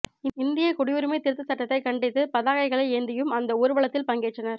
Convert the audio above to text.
இந்திய குடியுரிமை திருத்த சட்டத்தை கண்டித்து பதாகைகளை ஏந்தியும் அந்த ஊர்வலத்தில் பங்கேற்றனர்